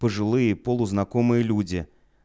пожилые полузнакомые люди